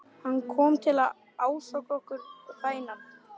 Hann kom til að ásaka okkur, vænan.